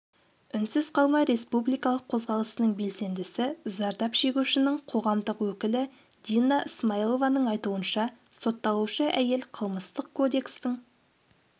үнсіз қалма республикалық қозғалысының белсендісі зардап шегушінің қоғамдық өкілі дина смаилованың айтуынша сотталушы әйел қылмыстық кодекстің